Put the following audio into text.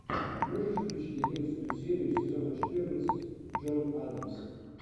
можешь включить одиннадцатую серию сезона четырнадцать джон адамс